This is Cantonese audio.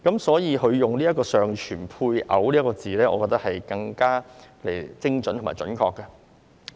所以，現在改為"尚存配偶"，我認為更精準和準確。